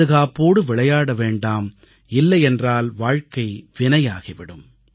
 பாதுகாப்போடு விளையாட வேண்டாம் இல்லையென்றால் வாழ்க்கை வினையாகி விடும்